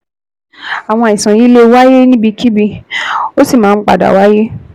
Àwọn àìsàn yìí lè wáyé níbikíbi, ó sì máa ń padà wáyé